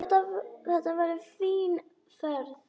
Þetta verður fín ferð.